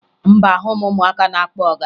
Mba, ahụghị m ụmụaka na-akpọ ọga